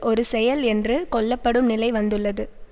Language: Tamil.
ஒரு செயல் என்று கொள்ளப்படும் நிலை வந்துள்ளது